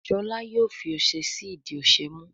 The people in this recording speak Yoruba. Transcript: Shola yóò fí ọṣẹ sí ìdí ọṣẹ mú